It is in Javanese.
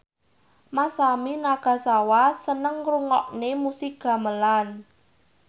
Masami Nagasawa seneng ngrungokne musik gamelan